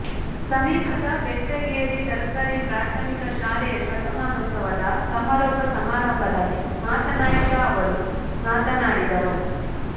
ಸಮೀಪದ ಬೆಟ್ಟಗೇರಿ ಸರ್ಕಾರಿ ಪ್ರಾಥಮಿಕ ಶಾಲೆಯ ಶತಮಾನೋತ್ಸವ ಸಮಾರೋಪ ಸಮಾರಂಭದಲ್ಲಿ ಮಾತನಾಡಿದ ಅವರು ಮಾತನಾಡಿದರು